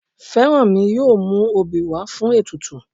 Fẹ́rànmi yóò mú obì wá fún ètùtù